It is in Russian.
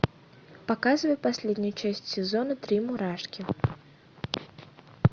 показывай последнюю часть сезона три мурашки